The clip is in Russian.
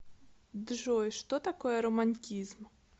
джой что такое романтизм